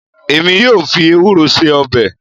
Èmi yóò fi ewúro ṣe ọbẹ̀